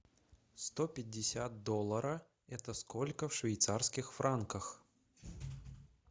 сто пятьдесят доллара это сколько в швейцарских франках